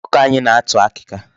Ọkụkọ anyị na-atụ akịka.